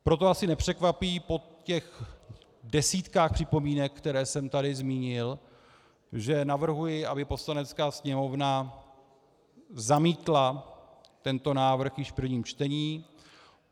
Proto asi nepřekvapí po těch desítkách připomínek, které jsem tady zmínil, že navrhuji, aby Poslanecká sněmovna zamítla tento návrh již v prvním čtení.